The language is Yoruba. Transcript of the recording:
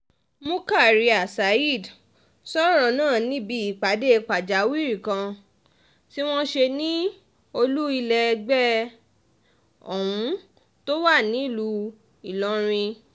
murkaria saheed sọ̀rọ̀ náà níbi ìpàdé pàjáwìrì kan tí wọ́n ṣe ní olú ilé ẹgbẹ́ ohun tó wà nílùú ìlọrin